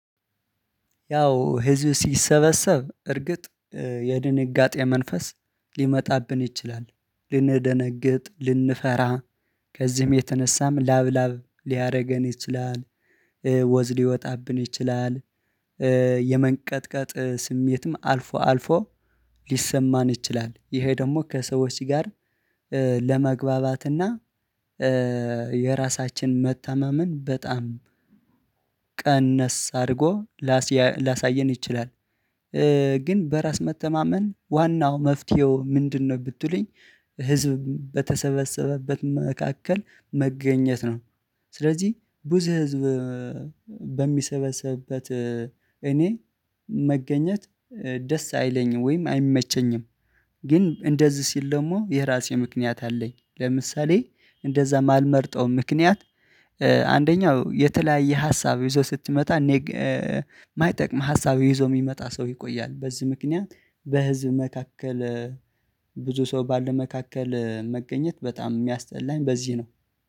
ያው ህዝብ ሲሰበሰብ እርግጥ የድንጋጤ መንፈስ ሊመጣብን ይችላል ልንደነግጥ ልንፈራ ከዚህም የተነሳም ላብ ላብ ሊያደርገን ይችላል ወዝ ሊወጣብን ይችላል። የመንቀጥቀጥ ስሜትም አልፎ አልፎ ሊሰማን ይችላል። ይሄ ደግሞ ከሰዎች ጋር ለመግባባትና የራሳችን መተማመን በጣም ቀነስ አድርጎ ላስያ ሊያሳየን ይችላል። ግን በራስ መተማመን ዋናው መፍትሄው ምንድነው ብትሉኝ? ህዝብ በተሰበሰበበት መካከል መገኘት ነው። ስለዚህ ብዙ ህዝብ በሚሰበሰብበት እኔ መገኘት ደስ አይለኝም ወይም አይመቸኝም። ግን እንደዚህ ሲል ደግሞ የራሴ ምክንያት አለኝ። ለምሳሌ እንደዛ ማልመርጠው ምክንያት አንደኛው የተለያየ ሀሳብ ይዞ ስትመጣ እኔ የማይጠቅም ሀሳብ ይዞ የሚመጣ ሰው ይቆያል በዚህ ምክንያት በህዝብ መካከል ብዙ ሰው ባለ መካከል መገኘት በጣም የሚያስጠላኝ በዚህ ነው።